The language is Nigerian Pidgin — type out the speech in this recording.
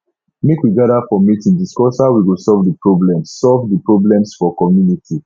make we gather for meeting discuss how we go solve the problems solve the problems for community